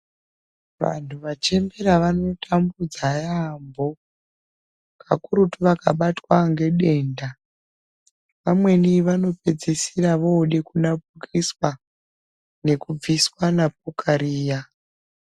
Vandu vachembera vano tambudza yambo kakurutu vakabatwa ngedenda vamweni vanopedzisira vode kurapiswa nekubviswa napuka riya.